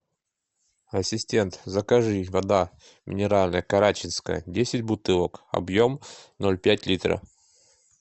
ассистент закажи вода минеральная карачинская десять бутылок объем ноль пять литра